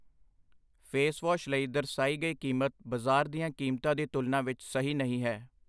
Face wash ਲਈ ਦਰਸਾਈ ਗਈ ਕੀਮਤ ਬਾਜ਼ਾਰ ਦੀਆਂ ਕੀਮਤਾਂ ਦੀ ਤੁਲਨਾ ਵਿੱਚ ਸਹੀ ਨਹੀਂ ਹੈ।